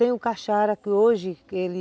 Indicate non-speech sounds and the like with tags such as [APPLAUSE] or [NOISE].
Tem o Cachara que hoje, ele [UNINTELLIGIBLE]